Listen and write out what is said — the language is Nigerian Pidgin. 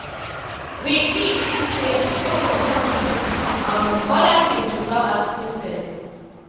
we gree gree say we no go move each um oda things without asking first.